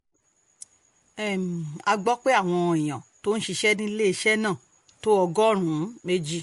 um a gbọ́ pé àwọn èèyàn tó ń ṣiṣẹ́ níléeṣẹ́ náà um tó ọgọ́rùn-ún méjì